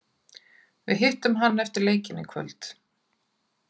Við hittum hann eftir leikinn í kvöld.